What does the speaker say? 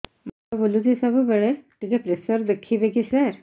ମୁଣ୍ଡ ବୁଲୁଚି ସବୁବେଳେ ଟିକେ ପ୍ରେସର ଦେଖିବେ କି ସାର